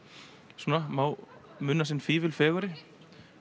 svona má muna sinn fífil fegurri